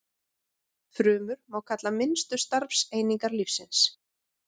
Frumur má kalla minnstu starfseiningar lífsins.